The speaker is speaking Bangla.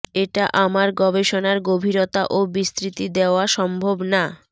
এটা আমার গবেষণার গভীরতা এবং বিস্তৃতি দেওয়া সম্ভব না